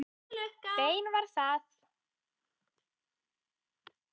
Bein var það.